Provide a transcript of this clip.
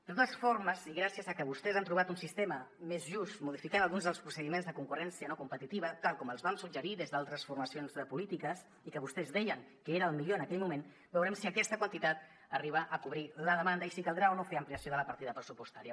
de totes formes i gràcies a que vostès han trobat un sistema més just modificant alguns dels procediments de concurrència no competitiva tal com els vam suggerir des d’altres formacions polítiques i que vostès deien que era el millor en aquell moment veurem si aquesta quantitat arriba a cobrir la demanda i si caldrà o no fer ampliació de la partida pressupostària